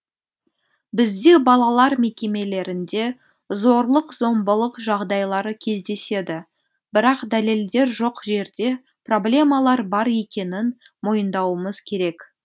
бізде балалар мекемелерінде зорлық зомбылық жағдайлары кездеседі бірақ дәлелдер жоқ жерде проблемалар бар екенін мойындауымыз керек